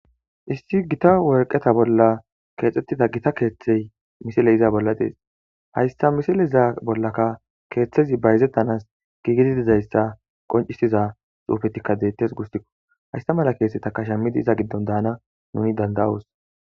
issi gita worqeta bolla keexxettida gita keeththey misiley iza bolla dees hayssa misile iza bollaka keeththezi bayzettanas giigidi dizayssa qoncisiza xuufetikka deettes gustikko haysta mala keesetakashammidi iza giddon daana nuni danda7oos